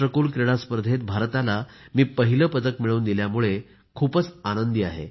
राष्ट्रकुल क्रीडा स्पर्धेत भारताला मी पहिले पदक मिळवून दिल्यामुळे मी खूप आनंदी आहे